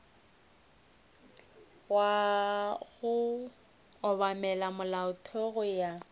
go obamela molaotheo go ya